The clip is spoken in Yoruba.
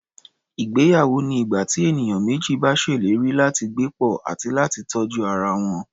Ìgbéyawó ni ìgbà tí ènìyàn méjì bá ṣèlérí láti gbé pọ̀, àti láti tọ́jú ara wọn.